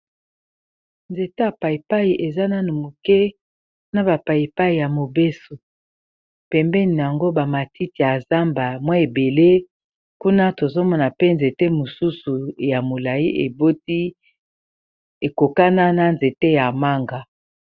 Nzete ya paipai eza nano moke na ba paipai ya mobeso pembeni yango ba matiti ya zamba mwa ebele kuna tozomona pe nzete mosusu ya molayi eboti ekokana na nzete ya manga.